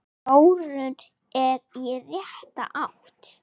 Þróunin er í rétta átt.